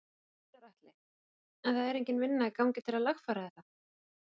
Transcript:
Gunnar Atli: En það er engin vinna í gangi til að lagfæra þetta?